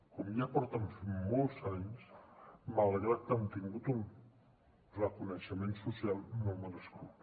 com ja fa molts anys que fan malgrat que han tingut un reconeixement social no merescut